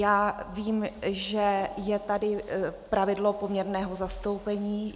Já vím, že je tady pravidlo poměrného zastoupení.